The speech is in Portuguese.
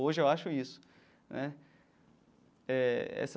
Hoje eu acho isso né eh essa.